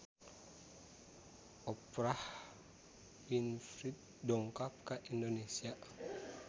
Oprah Winfrey dongkap ka Indonesia